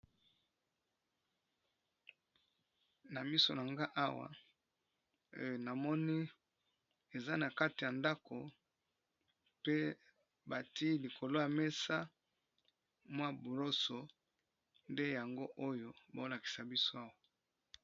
Na miso na nga awa na moni eza na kati ya ndako pe bati likolwya mesa mwa buroso nde yango oyo baolakisa biso awa.